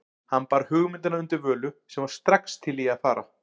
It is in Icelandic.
Hann bar hugmyndina undir Völu, sem var strax til í að fara.